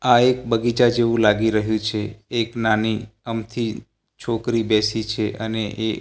આ એક બગીચા જેવુ લાગી રહ્યુ છે એક નાની અમથી છોકરી બેસી છે અને એ--